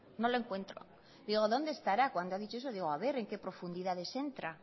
no lo encuentro digo dónde estará cuando ha dicho eso digo a ver en qué profundidades entra